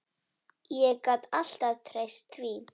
Ég gat alltaf treyst því.